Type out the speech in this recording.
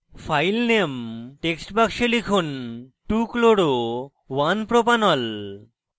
file name text box লিখুন 2chloro1propanol